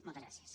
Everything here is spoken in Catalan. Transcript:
moltes gràcies